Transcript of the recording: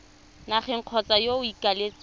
nageng kgotsa yo o ikaeletseng